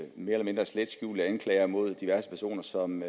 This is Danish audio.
mere eller mindre slet skjulte anklager mod diverse personer som